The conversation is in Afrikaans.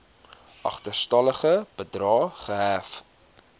agterstallige bedrae gehef